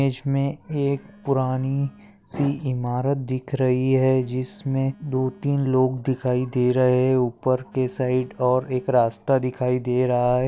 मेज मे एक पुरानी सी इमारत दिख रही है जिसमे दो तीन लोग दिखाई दे रहे है ऊपर के साइट और एक रास्ता दिखाई दे रहा है।